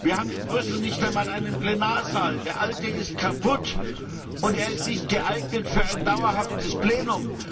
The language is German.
Wir haben in Brüssel nicht einmal einen Plenarsaal, der alte ist kaputt und er ist nicht geeignet für ein dauerhaftes Plenum.